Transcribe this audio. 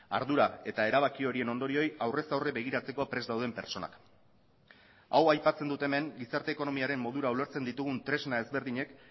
ardura eta erabaki horien ondorioei aurrez aurre begiratzeko prest dauden pertsonak hau aipatzen dut hemen gizarte ekonomiaren modura ulertzen ditugun tresna ezberdinek